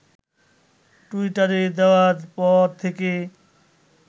টুইটারে দেওয়ার পর থেকে